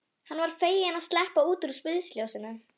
Hann var feginn að sleppa út úr sviðsljósinu.